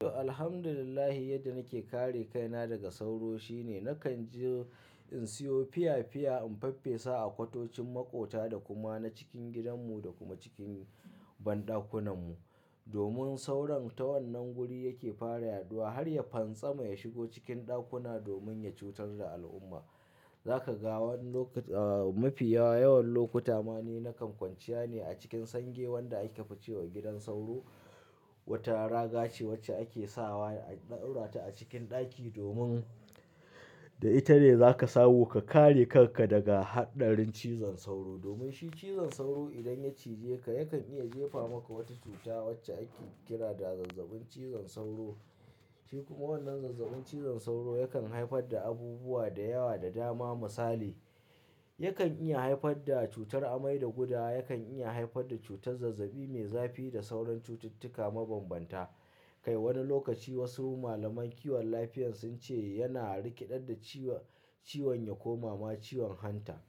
To, Alhamdulillah yadda nake kare kaina daga sauro shine nakan je in siyo fiya-fiya in faffesa a kwatocin maƙota da kuma na cikin gidanmu da kuma cikin banɗakunanmu. Domin sauran ta wannan guri yake fara yaduwa har ya pantsama ya shigo cikin ɗakuna domin ya cutar da al'umma. Za ka ga wani lokuta, ah, mafi yawa, yawan lokuta ma ni nakan kwanciya ne a cikin sange wanda ake fucewa gidan sauro. Wata raga ce wacce ake sawa a ɗaura ta a cikin ɗaki domin, da ita ne za ka samu ka kare karka daga haɗarin cizon sauro. Domin shi cizon sauro idan ya cije ka, yakan iya jefa maka wata cuta wacce ake kira da zazzabin cizon sauro. Shi kuma wannan zazzabin cizon sauro yakan haifar da abubuwa da yawa da dama. Misali, yakan iya haifar da cutar amai da gudawa, yakan iya haifar da cutar zazzabi mai zafi da sauran cututtuka mabambanta. Kai wani lokaci wasu malaman kiwon lafiyar sun ce yana rikeɗar da ciwon, ciwon yakoma ma ciwon hanta.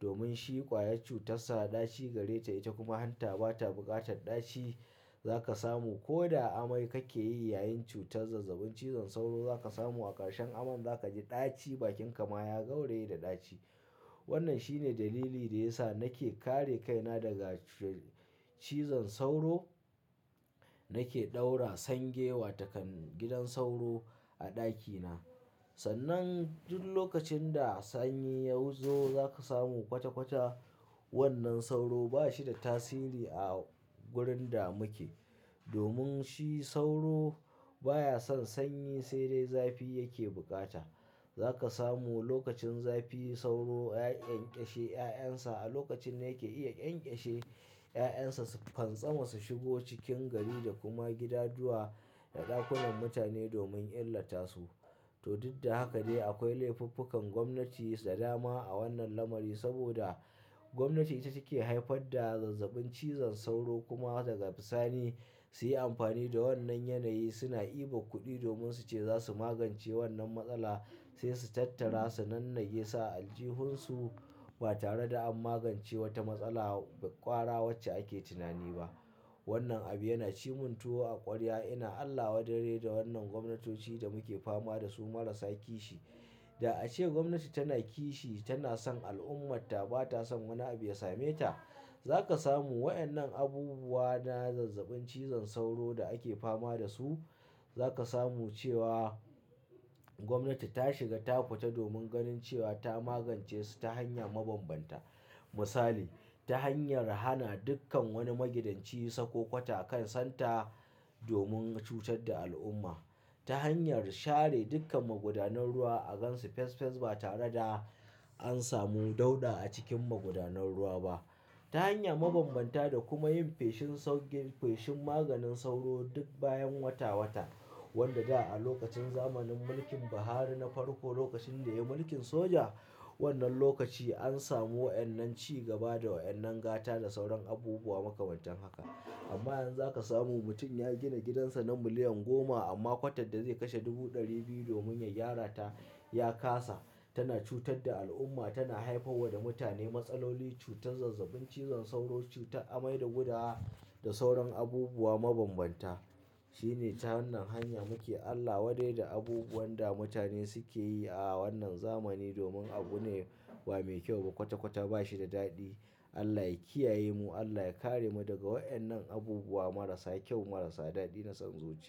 Domin shi ƙwayar cutarsa ɗaci gare ta, ita kuma hanta ba ta buƙatar ɗaci. Za ka samu ko da amai kake yi yayin cutar zazzabin cizon sauro, za ka samu a ƙarshen aman za ka ji ɗaci, bakinka ma ya gauraye da ɗaci. Wannan shine dalili da ya sa nake kare kaina daga cutar cizon sauro. Nake ɗaura sange wa takan gidan sauro a ɗakina. Sannan duk lokacin da sanyi ya zo za ka samu kwata-kwata wannan sauro ba shi da tasiri a wurin da muke. Domin shi sauro baya son sanyi, sai dai zafi yake bukata. Za ka samu lokacin zafi sauro ya ƙyanƙyashe 'ya'yan sa, a lokacin ne yake iya ƙyanƙyashe 'ya'yan sa su pantsama, su shigo cikin gari da kuma gidajuwa da ɗakunan mutane domin illata su. To, duk da haka dai akwai laifuffukan gwamnati da dama a wannan lamari. Saboda gwamnati ita ce ke haifar da zazzabin cizon sauro kuma daga bisani su yi amfani da wannan yanayi suna iba kuɗi domin su ce za su magance wannan matsala. Sai su tattara, su nan nage sa aljihunsu ba tare da an magance wata matsala ƙwara wacce ake tunani ba. Wannan abu yana cimuntuwo a ƙwarya. Ina Allah wadarre da wannan gwamnatoci da muke fama da su marasa kishi. Da a ce gwamnati tana kishi, tana son al'ummarta ba ta son wani abu ya same ta. Za ka samu waɗannan abubuwa na zazzabin cizon sauro da ake fama da su. Za ka samu cewa gwamnati ta shiga ta fita domin ganin cewa ta magance su ta hanya mabambanta. Misali, ta hanyar hana dukkan wani magidanci ya saka kwata a kan santa domin ya cutar da al'umma. Ta hanyar share dukkan magudanun ruwa a gansu fes fes ba tare da an samu dauɗa a cikin magudanun ruwa ba. Ta hanya mabambanta da kuma yin feshin saukin, feshin maganin sauro duk bayan wata-wata. Wanda da a lokacin zamanin mulkin Buhari na farko, lokacin da ya yi mulkin soja, wannan lokaci an samu waɗannan cigaba da waɗannan gata da sauran abubuwa makamantan haka. Amma yanzu za ka samu mutum ya gina gidansa na miliyan goma amma kwatar da zai kashe dubu ɗari biyu domin ya gyara ta ya kasa. Tana cutar da al'umma, tana haifar wa da mutane matsaloli, cutar zazzabin cizon sauro, cutar amai da gudawa da sauran abubuwa mabambanta. Shi ne ta wannan hanya muke Allah wadarre da abubuwan da mutane suke yi a wannan zamani domin abu ne ba mai kyau ba, kwata-kwata ba shi da daɗi. Allah ya kiyaye mu, Allah ya kare mu daga waɗannan abubuwa marasa kyau marasa daɗi na son zuciya.